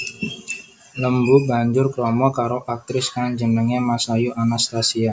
Lembu banjur krama karo aktris kang jenengé Masayu Anastasia